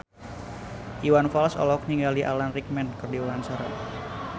Iwan Fals olohok ningali Alan Rickman keur diwawancara